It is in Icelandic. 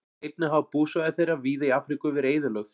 Einnig hafa búsvæði þeirra víða í Afríku verið eyðilögð.